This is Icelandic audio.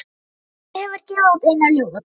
Hann hefur gefið út eina ljóðabók.